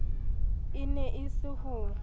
e ne e se ho